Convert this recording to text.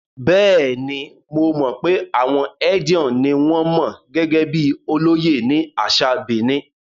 Bẹ́ẹ̀ni, mo mọ̀ pé àwọn Edion ni wọn mọ̀ gẹ́gẹ́ bíi olóyè ní àṣà Benin.